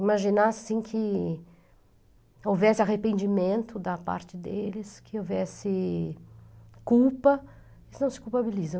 Imaginar assim que houvesse arrependimento da parte deles, que houvesse culpa, eles não se culpabilizam.